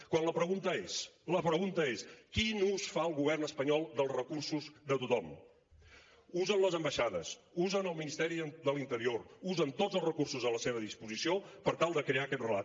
quan la pregunta és quin ús fa el govern espanyol dels recursos de tothom usen les ambaixades usen el ministeri de l’interior usen tots els recursos a la seva disposició per tal de crear aquest relat